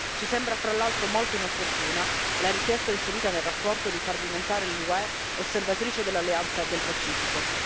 Ci sembra fra l'altro molto inopportuna la richiesta inserita nella relazione di far diventare l'UE osservatrice dell'alleanza del Pacifico.